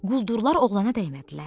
Quldurlar oğlana dəymədilər.